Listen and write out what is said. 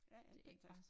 Ja ja en pæn taske